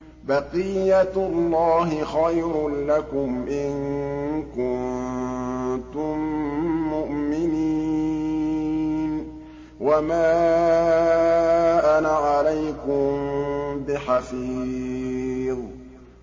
بَقِيَّتُ اللَّهِ خَيْرٌ لَّكُمْ إِن كُنتُم مُّؤْمِنِينَ ۚ وَمَا أَنَا عَلَيْكُم بِحَفِيظٍ